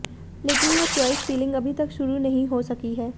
लेकिन यह choice filling अभी तक शुरू नहीं हो सकी है